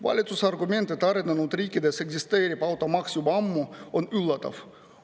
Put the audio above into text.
Valitsuse argument, et arenenud riikides eksisteerib automaks juba ammu, on üllatav.